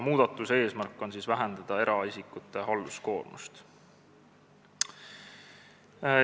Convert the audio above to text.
Muudatuse eesmärk on vähendada eraisikute halduskoormust.